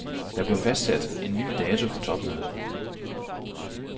Der blev fastsat en ny dato for topmødet.